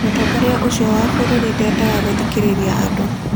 Mũtongoria ũcio wa bũrũri ndeendaga gũthikĩrĩria andũ.